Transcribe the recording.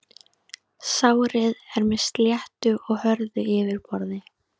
Sárið er með sléttu og hörðu yfirborði.